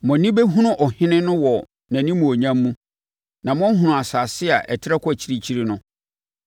Mo ani bɛhunu ɔhene no wɔ nʼanimuonyam mu na moahunu asase a ɛtrɛ kɔ akyirikyiri no.